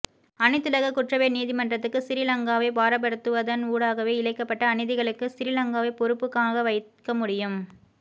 அனைத்துலக குற்றவியல் நீதிமன்றத்துக்கு சிறிலங்காவை பாரப்படுத்துவன் ஊடாகவே இழைக்கப்பட்ட அநீதிகளுக்கு சிறிலங்காவை பொறுப்புக்காண வைக்க முடியும்